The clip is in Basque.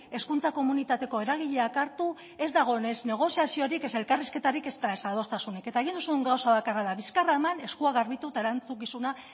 hezkuntza komunitateko eragileak hartu ez da egon ez negoziaziorik ez elkarrizketarik ezta adostasunik eta egin duzun gauza bakarra da bizkarra eman eskua garbitu eta erantzukizuna